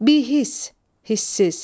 Bihis, hissiz.